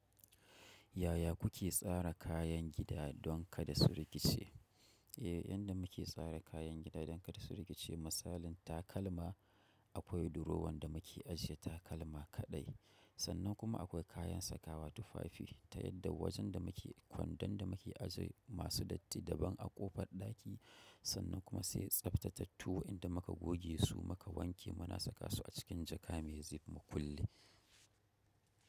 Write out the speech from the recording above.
Yaya kuke tsara kayan gida don kada su rikice? Eh, yadda muke tsara kayan gida don kada su rikice, misalin takalma akwai durowan da muke ajiye takalma kaɗai. Sannan kuma akwai kayan sakawa tufafi ta yadda wajen da muke kwandon da muke ajie masu datti daban a ƙofar ɗaki. Sannan kuma sai tsaftatattuwa inda muka goge su muka wanke muna saka su a cikin jaka mai zip mu kulle.